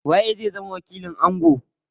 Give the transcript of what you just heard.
Waye zai zama wakilin ango?